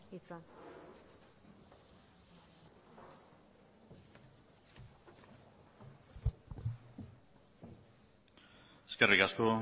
hitza eskerrik asko